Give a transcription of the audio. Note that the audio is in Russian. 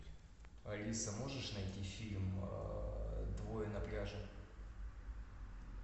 алиса можешь найти фильм двое на пляже